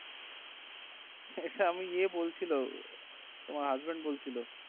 হা হা আমাকে ইয়ে বলছিলো তোমার husband বলছিলো